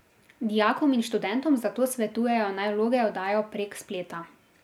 Dijakom in študentom zato svetujejo, naj vloge oddajo prek spleta.